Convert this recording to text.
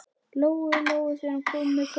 Lóu Lóu þegar hún kom upp með koppinn.